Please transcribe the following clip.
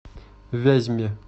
вязьме